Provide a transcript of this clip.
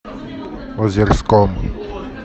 озерском